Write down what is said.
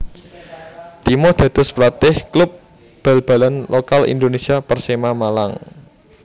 Timo dados pelatih klub bal balan lokal Indonesia Persema Malang